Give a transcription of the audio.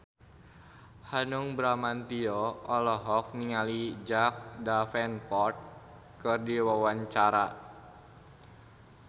Hanung Bramantyo olohok ningali Jack Davenport keur diwawancara